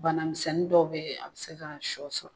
Bana misɛnnin dɔw bɛ a bɛ se ka sɔ sɔrɔ.